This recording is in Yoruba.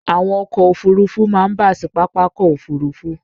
Àwọn ọkọ̀ Òfurufú máa ń bà sí Pápákọ̀ òfuurufú.